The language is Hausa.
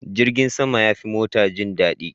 Jirgin sama yafi mota jin dadi.